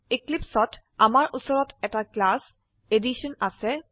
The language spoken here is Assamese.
eclipseত আমাৰ উচৰত এটা ক্লাস এডিশ্যন আছে